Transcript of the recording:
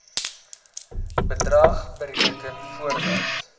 bedrag bereken voordat